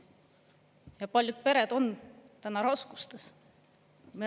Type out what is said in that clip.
Ja paljud pered on täna raskustes.